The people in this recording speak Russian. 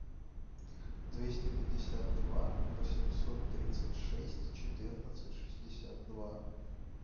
двести пятьдесят два восемьсот тридцать шесть четырнадцать шестьдесят два